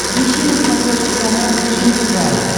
ищи на смотрешке канал фэшен тв